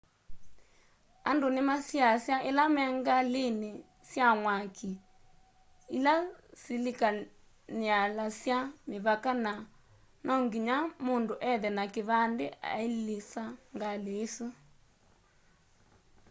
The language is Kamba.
andũ nimasiasywa ila me ngalĩn sya mwakĩ ila sikilanialya mĩvaka na no nginya mundu ethe na kĩvandĩ ailisa ngalĩ isũ